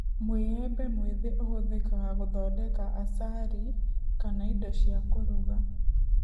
Mũĩembe mwĩthĩ ũhũthĩkaga gũthondeka acari kana indo cia kũruga